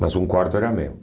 Mas um quarto era meu.